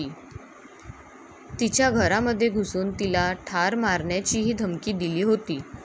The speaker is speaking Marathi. तिच्या घरामध्ये घुसून तिला ठार मारण्याचीही धमकी दिली होती.